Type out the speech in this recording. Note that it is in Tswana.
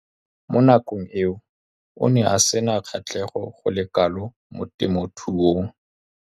Mo nakong eo o ne a sena kgatlhego go le kalo mo temothuong.